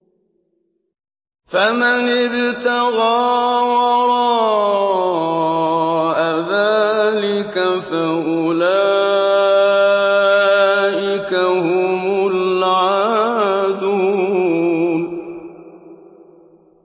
فَمَنِ ابْتَغَىٰ وَرَاءَ ذَٰلِكَ فَأُولَٰئِكَ هُمُ الْعَادُونَ